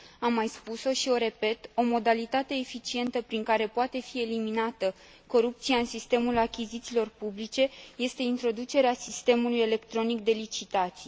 Am mai spus o și o repet o modalitate eficientă prin care poate fi eliminată corupția în sistemul achizițiilor publice este introducerea sistemului electronic de licitații.